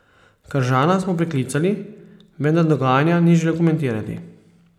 Kržana smo priklicali, vendar dogajanja ni želel komentirati.